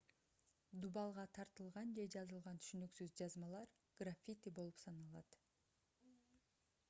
дубалга тартылган же жазылган түшүнүксүз жазмалар граффити болуп саналат